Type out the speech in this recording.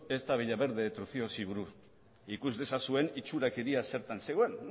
ezta villaverde de trucíosi buruz ikus dezazuen itxurakeria zertan zegoen